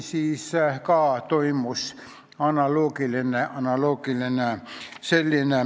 Siis toimus analoogiline asi.